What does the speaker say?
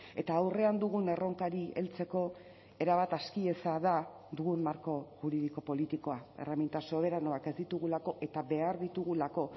eta aurrean dugun erronkari heltzeko erabat aski eza da dugun marko juridiko politikoa erreminta soberanoak ez ditugulako eta behar ditugulako